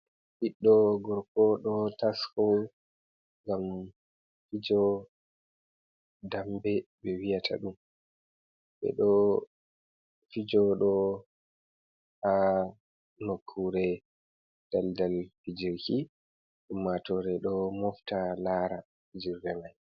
Ɓiɗɗo gorko ɗo tasko, ngam fijo dambe ɓe wiyata ɗum ɓe ɗo fijo ɗo ha nokkure daldal fijirki, ummatore ɗo mofta laara fijirle mai.